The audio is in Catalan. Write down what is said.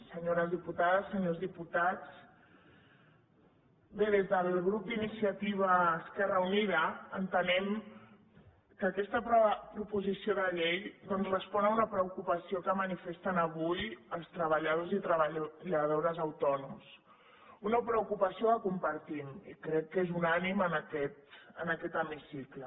senyores diputades senyors diputats bé des del grup d’iniciativa esquerra unida entenem que aquesta proposició de llei doncs respon a una preocupació que manifesten avui els treballadors i treballadores autònoms una preocupació que compartim i crec que és unànime en aquest hemicicle